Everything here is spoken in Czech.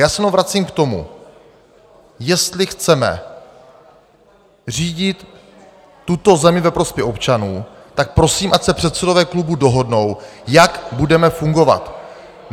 Já se jenom vracím k tomu, jestli chceme řídit tuto zemi ve prospěch občanů, tak prosím, ať se předsedové klubů dohodnou, jak budeme fungovat.